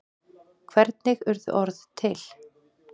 hvernig urðu orð til